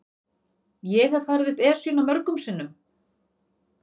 Ég hef farið upp Esjuna mörgum sinnum.